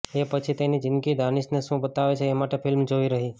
એ પછી તેની જિંદગી દાનિશને શું બતાવે છે એ માટે ફિલ્મ જોવી રહી